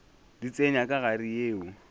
di tsenya ka gare yeo